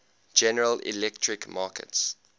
general electric markets